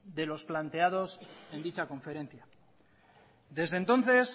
de los planteados en dicha conferencia desde entonces